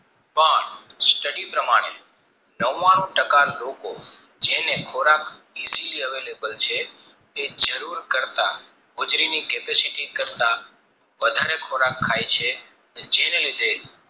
પણ study પ્રમાણે નવાણું ટકા લોકો જેને ખોરાક available છે તે જરૂર કરતા હોજરીની capacity કરતા વધારે ખોરાક ખાય છે જેને લીધે